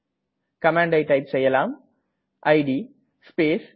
கமாண்டை டைப் செய்யலாம் it space g